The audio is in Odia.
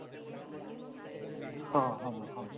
ହଁ ହଁ ହଁ